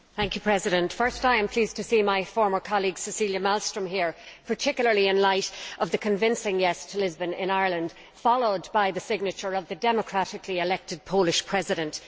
Mr President, firstly, I am pleased to see my former colleague Cecilia Malmström here, particularly in light of the convincing yes' to Lisbon in Ireland, followed by the signature of the democratically elected Polish President.